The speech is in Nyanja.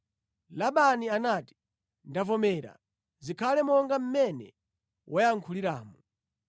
Labani anati, “Ndavomera, zikhale monga mmene wayankhuliramu.”